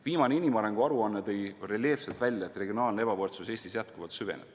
Viimane inimarengu aruanne tõi reljeefselt välja, et regionaalne ebavõrdsus Eestis jätkuvalt süveneb.